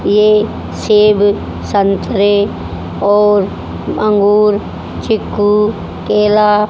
ये सेब संतरे और अंगूर चीकू केला--